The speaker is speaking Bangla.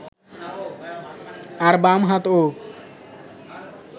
আর বাম হাতও